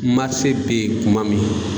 be ye kuma min